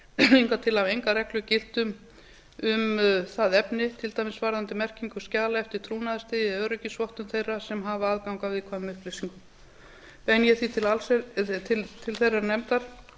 hingað til hafa engar reglur gilt um það efni til dæmis varðandi merkingu skjala eftir trúnaðarstigi eða öryggisvottun þeirra sem hafa aðgang að viðkvæmum upplýsingum beini ég því til þeirrar nefndar